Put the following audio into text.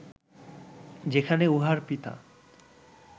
যেখানে উহার পিতা